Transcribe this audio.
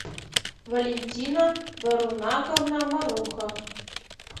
валентина барунаковна маруха